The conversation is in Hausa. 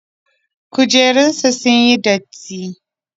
Kujerunsa ​​sunyi datti.